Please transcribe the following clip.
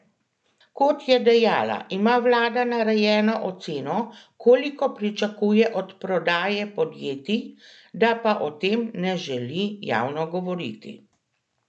Kot je dejala, ima vlada narejeno oceno, koliko pričakuje od prodaje podjetij, da pa o tem ne želi javno govoriti.